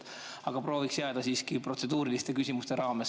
Aga prooviks jääda protseduuriliste küsimuste raamesse.